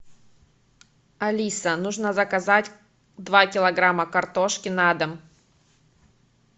алиса нужно заказать два килограмма картошки на дом